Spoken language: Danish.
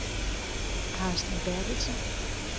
Carsten Berthelsen